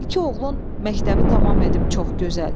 İki oğlun məktəbi tamam edib, çox gözəl.